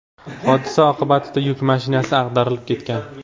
Hodisa oqibatida yuk mashinasi ag‘darilib ketgan.